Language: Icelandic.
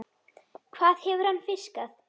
Hvað hefur hann fiskað?